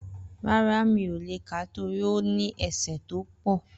Rárá, mi ò le kà á torí ó ní ẹsẹ́ tó pọ̀.